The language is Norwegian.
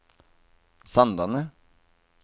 Sandane